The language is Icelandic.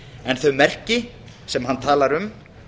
en þau merki sem hann talar um